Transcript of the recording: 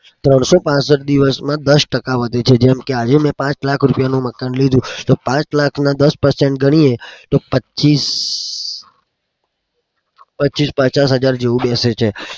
ત્રણસો પાંસઠ દિવસમાં દસ ટકા વધે છે. જેમ કે આજે મેં પાંચ લાખ રૂપિયાનું મકાન લીધું. પાંચ લાખના દસ ટકા ગણીએ તો પચીસ પચાસ હજાર જેવું બેસે છે.